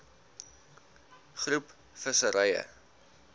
groep visserye